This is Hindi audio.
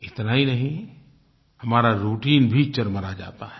इतना ही नहीं हमारा राउटाइन भी चरमरा जाता है